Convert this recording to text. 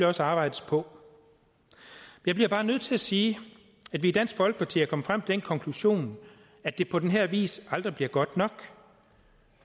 også arbejdes på jeg bliver bare nødt til at sige at vi i dansk folkeparti er kommet frem til den konklusion at det på den her vis aldrig bliver godt nok